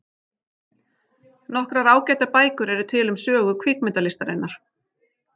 Nokkrar ágætar bækur eru til um sögu kvikmyndalistarinnar.